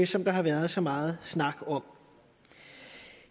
som der har været så meget snak om